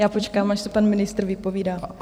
Já počkám, až se pan ministr vypovídá.